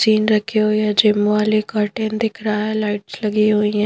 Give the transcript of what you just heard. scene रखी हुई है जिम वाले कर्टन दिख रहा है लाइट्स लगी हुई है--